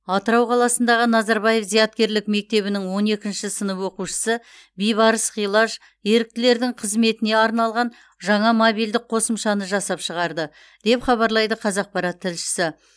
атырау қаласындағы назарбаев зияткерлік мектебінің он екінші сынып оқушысы бибарыс ғилаж еріктілердің қызметіне арналған жаңа мобильдік қосымшаны жасап шығарды деп хабарлайды қазақпарат тілшісі